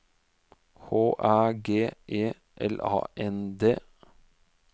H Æ G E L A N D